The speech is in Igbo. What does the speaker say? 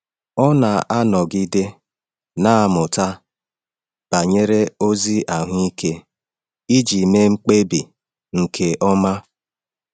Ọ na-anọgide na-amụta banyere ozi ahụike iji mee mkpebi nke ọma.